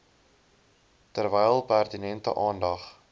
terwyl pertinente aandag